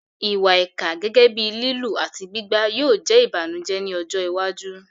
Ìwà ìkà, gẹ́gẹ́ bíi lílù àti gbígbá, yóò jẹ́ ìbànújẹ́ ní ọjọ́ iwájú.